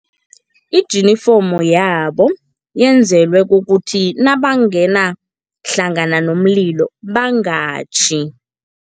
Ijinifomu yabo yenzelwe kukuthi nabangena hlangana nomlilo bangatjhi.